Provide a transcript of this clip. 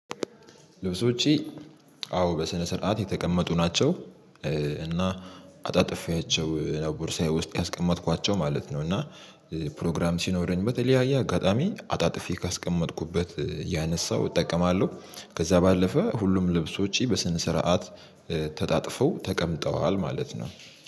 ልብስ ውጪ አዎ በስነ ስርዓት የተቀመጡ ናቸው። እና አጣጥፌያቸው ነበር ቦርሳዬ ውስጥ ያስቀመጥኳቸው ማለት ነው። እና ፕሮግራም ሲኖረኝበት የለያየ አጋጣሚ አጣጥፌ ካስቀመጥኩበት ያነሳሁ እጠቀማለሁ። ከዛ ባለፈ ሁሉም ልብሶች በስነ ስርዓት ተጣጥፈው ተቀምጠዋል ማለት ነው።